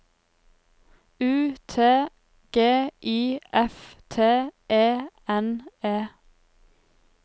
U T G I F T E N E